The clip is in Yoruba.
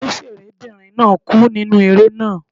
Òǹṣẹ̀rẹ́ bìnrin náà kú nínú eré náà.